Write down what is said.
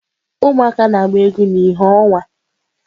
Ụmụaka na-agba egwu na ìhè ọnwa.